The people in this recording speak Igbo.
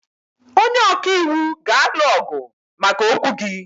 Onye ọka iwu ga-alụ ọgụ maka okwu gị.